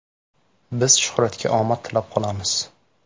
Biz Shuhratga omad tilab qolamiz!